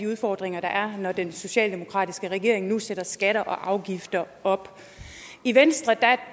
udfordringer der er når den socialdemokratiske regering nu sætter skatter og afgifter op i venstre